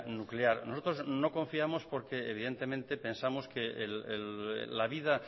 nuclear nosotros no confiamos porque evidentemente pensamos que la vida